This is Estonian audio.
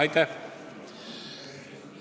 Aitäh!